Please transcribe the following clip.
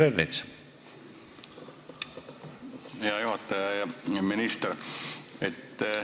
Hea minister!